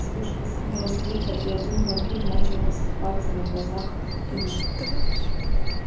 вспышка синего света и один вампир начал рассыпаться на глазах как в кино